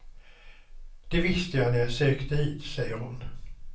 Det visste jag när jag sökte hit, säger hon.